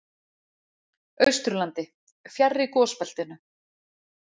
Austurlandi, fjarri gosbeltinu.